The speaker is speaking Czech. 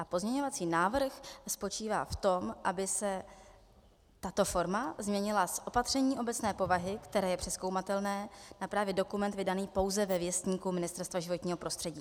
A pozměňovací návrh spočívá v tom, aby se tato forma změnila z opatření obecné povahy, které je přezkoumatelné, na právě dokument vydaný pouze ve Věstníku Ministerstva životního prostředí.